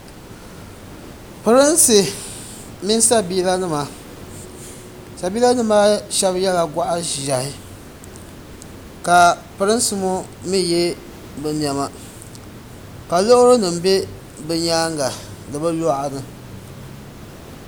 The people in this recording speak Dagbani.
Pirinsi mini sabiila nima sabiila nim maa shɛba yɛla gɔɣa ʒiɛhi ka pirinsi ŋɔ mi yɛ bi niɛma ka loori nim bɛ bi nyaanga ni bi luɣani.